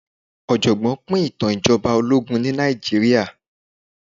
ọ̀jọ̀gbọ́n pín ìtàn ìjọba ológun ní Nàìjíríà.